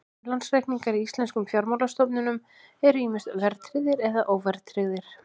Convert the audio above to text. Innlánsreikningar í íslenskum fjármálastofnunum eru ýmist verðtryggðir eða óverðtryggðir.